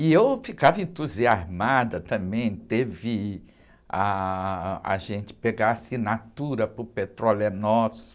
E eu ficava entusiasmada também, teve ah, a gente pegar assinatura para o Petróleo é Nosso,